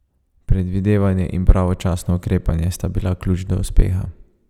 Predvidevanje in pravočasno ukrepanje sta bila ključ do uspeha.